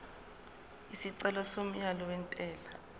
isicelo somyalo wentela